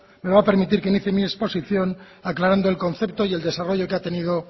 me va a permitir que inicie mi exposición aclarando el concepto y el desarrollo que ha tenido